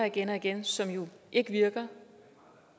igen og igen som jo ikke virker